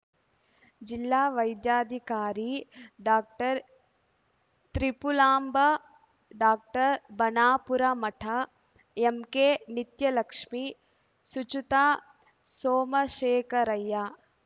ಜಿಲ್ಲಾ ವೈದ್ಯಾಧಿಕಾರಿ doctor Tripulamba doctor Banapuramath ಎಂಕೆನಿತ್ಯಲಕ್ಷ್ಮಿ ಸುಚುತಾ ಸೋಮಶೇಖರಯ್ಯ